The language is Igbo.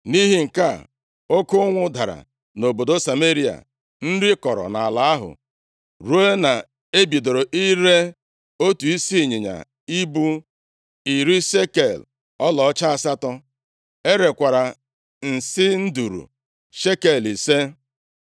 Nʼihi nke a, oke ụnwụ dara nʼobodo Sameria. Nri kọrọ nʼala ahụ ruo na e bidoro ire otu isi ịnyịnya ibu + 6:25 Ịnyịnya ibu so nʼanụ ụmụ Izrel na-ekwesighị iri nʼihi na ọ dịghị ọcha. \+xt Lev 11:4\+xt* iri shekel ọlaọcha asatọ. E rekwara nsị nduru shekel ise.